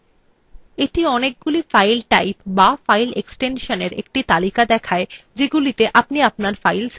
এটি অনেকগুলি file type বা file এক্সটেনশনএর একটি তালিকা দেখায় যাতে আপনি আপনার file save করতে পারেন